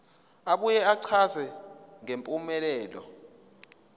abuye achaze ngempumelelo